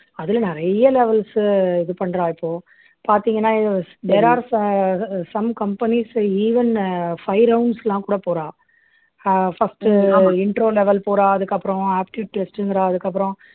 அதுல நிறைய levels uh இது பண்றா இப்போ பாத்தீங்கன்னா there are so ah some companies even uh five rounds லாம் கூட போறா ah first uh intro level போறா அதுக்கப்புறம் aptitude test ங்கிறா அதுக்கப்புறம்